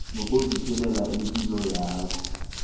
nokuziphilela ipilo yakho